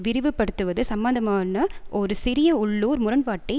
விரிவுபடுத்துவது சம்பந்தமான ஒரு சிறிய உள்ளூர் முரண்பாட்டை